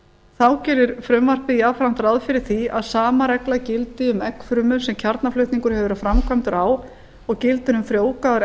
þá gerir frumvarpið jafnframt ráð fyrir því að sama regla gildi um eggfrumur sem kjarnaflutningur hefur verið framkvæmdur á og gildir um frjóvgaðar